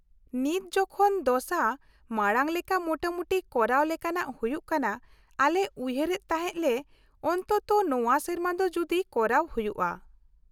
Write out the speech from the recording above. -ᱱᱤᱛ ᱡᱚᱠᱷᱚᱱ ᱫᱚᱥᱟ ᱢᱟᱲᱟᱝ ᱞᱮᱠᱟ ᱢᱚᱴᱟᱢᱩᱴᱤ ᱠᱚᱨᱟᱣ ᱞᱮᱠᱟᱱᱟᱜ ᱦᱩᱭᱩᱜ ᱠᱟᱱᱟ, ᱟᱞᱮ ᱩᱭᱦᱟᱹᱨ ᱮᱫ ᱛᱟᱦᱮᱸ ᱞᱮ ᱚᱱᱛᱚᱛᱚ ᱱᱚᱶᱟ ᱥᱮᱨᱢᱟ ᱫᱚ ᱡᱩᱫᱤ ᱠᱚᱨᱟᱣ ᱦᱩᱭᱩᱜᱼᱟ ᱾